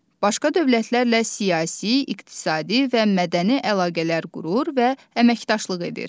Başqa dövlətlərlə siyasi, iqtisadi və mədəni əlaqələr qurur və əməkdaşlıq edir.